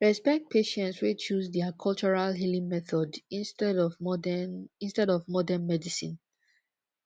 respect patience wey choose their cultural healing method instead of modern instead of modern medicine